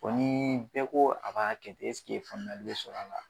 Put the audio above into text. Bɔn ni bɛɛ ko a b'a kɛ ten ɛsige faamuyali be sɔrɔ a la